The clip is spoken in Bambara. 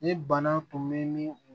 Ni bana tun bɛ ni u